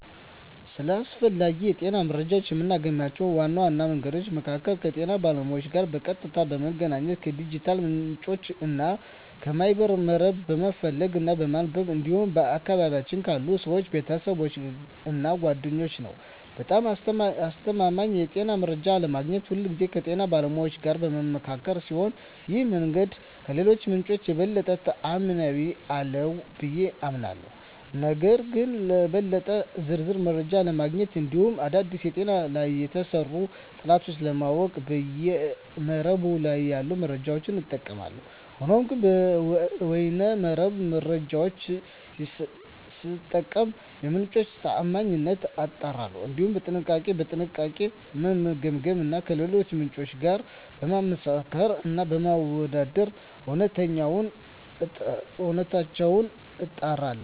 ስለ አስፈላጊ የጤና መረጃን የማገኝባቸው ዋና መንገዶች መካከል ከጤና ባለሙያዎች ጋር በቀጥታ በመገናኘት፣ ከዲጂታል ምንጮች እና ከበይነ መረብ በመፈለግ እና በማንበብ እንዲሁም በአካባቢየ ካሉ ሰወች፣ ቤተሰብ እና ጓደኛ ነዉ። በጣም አስተማማኝ የጤና መረጃ ለማግኘት ሁልጊዜ ከጤና ባለሙያዎች ጋር በምመካከር ሲሆን ይህ መንገድ ከሌሎቹ ምንጮች የበለጠ ተአማኒነት አለው ብየ አምናለሁ። ነገር ግን ለበለጠ ዝርዝር መረጃ ለማግኘት እንዲሁም አዳዲስ በጤና ላይ የተሰሩ ጥናቶችን ለማወቅ በይነ መረብ ላይ ያሉ መረጃዎችን እጠቀማለሁ። ሆኖም ግን የበይነ መረብ መረጃወቹን ስጠቀም የምንጮቹን ታአማኒነት አጣራለሁ፣ እንዲሁም በጥንቃቄ እና በጥልቀት በመገምገም እና ከሌሎች ምንጮች ጋር በማመሳከር እና በማወዳደር እውነተኝነታቸውን አጣራለሁ።